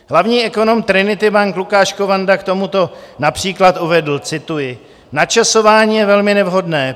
Hlavní ekonom Trinity Bank Lukáš Kovanda k tomuto například uvedl, cituji: "Načasování je velmi nevhodné.